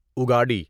اگاڑی